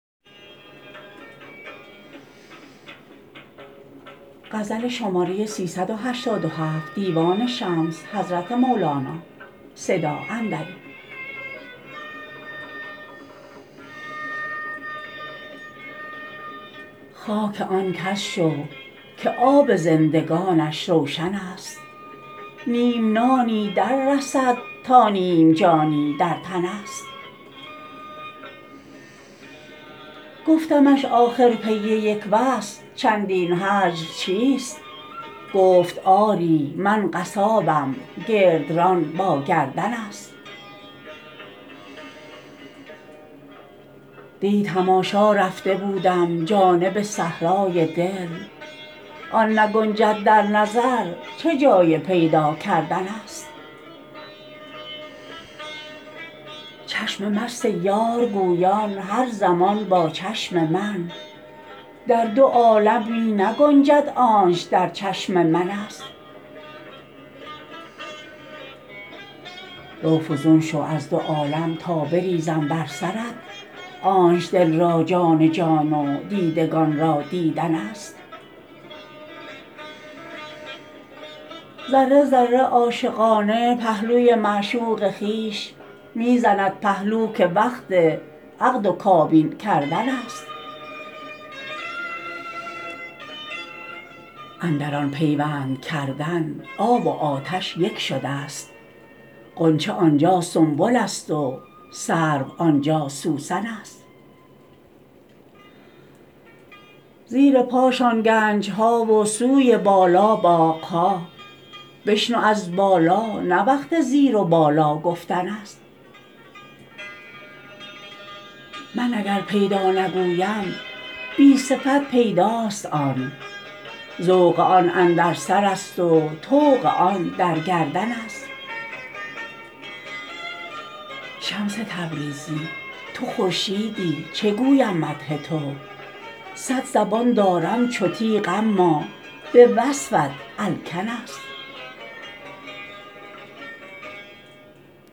خاک آن کس شو که آب زندگانش روشنست نیم نانی دررسد تا نیم جانی در تنست گفتمش آخر پی یک وصل چندین هجر چیست گفت آری من قصابم گردران با گردنست دی تماشا رفته بودم جانب صحرای دل آن نگنجد در نظر چه جای پیدا کردنست چشم مست یار گویان هر زمان با چشم من در دو عالم می نگنجد آنچ در چشم منست رو فزون شو از دو عالم تا بریزم بر سرت آنچ دل را جان جان و دیدگان را دیدنست ذره ذره عاشقانه پهلوی معشوق خویش می زند پهلو که وقت عقد و کابین کردنست اندر آن پیوند کردن آب و آتش یک شده ست غنچه آن جا سنبلست و سرو آن جا سوسنست زیر پاشان گنج ها و سوی بالا باغ ها بشنو از بالا نه وقت زیر و بالا گفتنست من اگر پیدا نگویم بی صفت پیداست آن ذوق آن اندر سرست و طوق آن در گردنست شمس تبریزی تو خورشیدی چه گویم مدح تو صد زبان دارم چو تیغ اما به وصفت الکنست